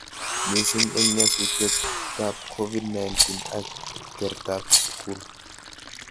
Mising eng nyasutietab Covid-19 ak kertab skul